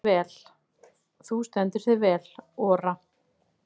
Þú stendur þig vel, Ora!